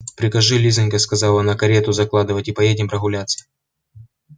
прикажи лизонька сказала она карету закладывать и поедем прогуляться